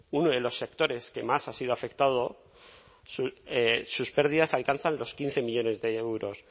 uno de los sectores que más han sido afectados sus pérdidas alcanzan los quince millónes de euros